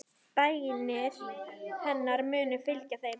Bænir hennar munu fylgja þeim.